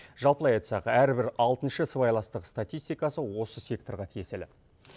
жалпылай айтсақ әрбір алтыншы сыбайластық статистикасы осы секторға тиесілі